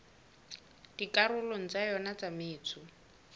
dikarolong tsa yona tsa metso